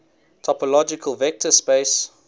topological vector space